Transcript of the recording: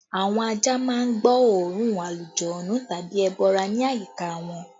Àwọn ajá má ń gbọ́ oòrùn alujọ̀nnú tàbí ẹbọra ní àyíká wọn